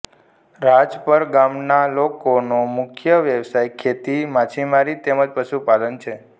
રાજપરા ગામના લોકોનો મુખ્ય વ્યવસાય ખેતી માછીમારી તેમ જ પશુપાલન છે